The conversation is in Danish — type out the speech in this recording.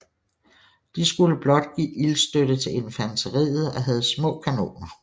De skulle blot give ildstøtte til infanteriet og havde små kanoner